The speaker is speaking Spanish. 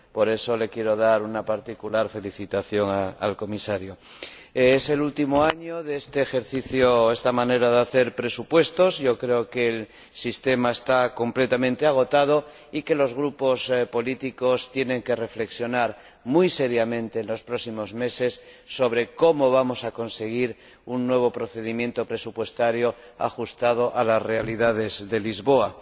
Por eso le quiero dar una particular felicitación al Comisario. Es el último año de esta manera de hacer presupuestos creo que el sistema está completamente agotado y que los grupos políticos tienen que reflexionar muy seriamente en los próximos meses sobre cómo vamos a conseguir un nuevo procedimiento presupuestario ajustado a las realidades de Lisboa.